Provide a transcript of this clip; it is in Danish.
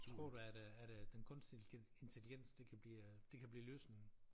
Tror du at øh at øh den kunstige intelligens det kan blive øh det kan blive løsningen?